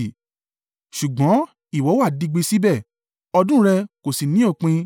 Ṣùgbọ́n ìwọ wà digbí síbẹ̀, ọdún rẹ kò sì ní òpin.